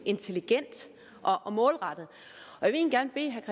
intelligent og målrettet jeg vil egentlig